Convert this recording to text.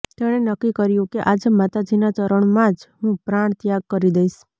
તેણે નક્કી કર્યું કે આજે માતાજીના ચરણમાં જ હું પ્રાણત્યાગ કરી દઈશ